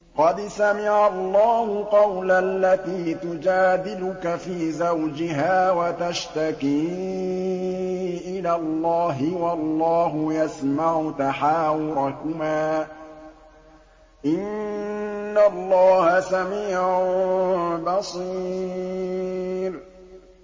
قَدْ سَمِعَ اللَّهُ قَوْلَ الَّتِي تُجَادِلُكَ فِي زَوْجِهَا وَتَشْتَكِي إِلَى اللَّهِ وَاللَّهُ يَسْمَعُ تَحَاوُرَكُمَا ۚ إِنَّ اللَّهَ سَمِيعٌ بَصِيرٌ